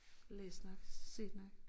Læst nok set nok